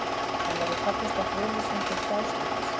En verður fallist á friðlýsingu Gjástykkis?